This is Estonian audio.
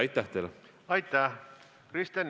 Aitäh selle küsimuse eest!